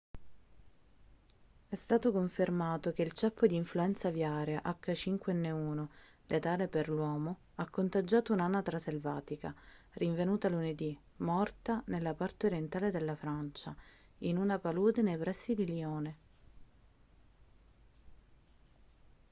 è stato confermato che il ceppo di influenza aviaria h5n1 letale per l'uomo ha contagiato un'anatra selvatica rinvenuta lunedì morta nella parte orientale della francia in una palude nei pressi di lione